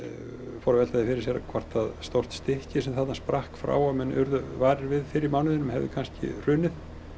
fóru að velta því fyrir sér hvort stórt stykki sem þarna sprakk frá og menn urðu varir við fyrr í mánuðinum hefði kannski hrunið